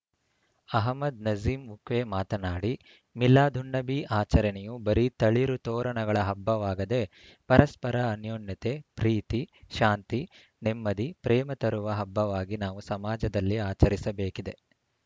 ಅಹಮ್ಮದ್‌ ನಝೀಂ ಮುಕ್ವೆ ಮಾತನಾಡಿ ಮಿಲಾದುನ್ನಭಿ ಆಚರಣೆಯು ಬರೀ ತಳಿರು ತೋರಣಗಳ ಹಬ್ಬವಾಗದೇ ಪರಸ್ಪರ ಅನ್ಯೋನ್ಯತೆ ಪ್ರೀತಿ ಶಾಂತಿ ನೆಮ್ಮದಿ ಪ್ರೇಮ ತರುವ ಹಬ್ಬವಾಗಿ ನಾವು ಸಮಾಜದಲ್ಲಿ ಆಚರಿಸಬೇಕಿದೆ